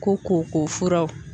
Ko ko furaw